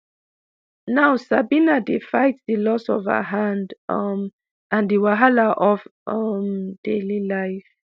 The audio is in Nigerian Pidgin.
now sabina dey fight di loss of her hand um and di wahala of um daily life.